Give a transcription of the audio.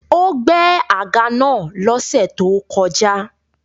Ó gbẹ́ àga naa lọ́sẹ̀ tó kọjá